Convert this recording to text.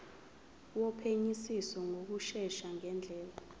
wophenyisiso ngokushesha ngendlela